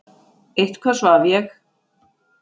Eitthvað svaf ég.